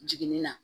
Jiginni na